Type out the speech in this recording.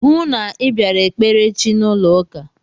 Hụụ na Ị bịara ekpere echi n'ụlọ ụka!